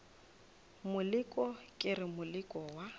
moleko ke re moleko wa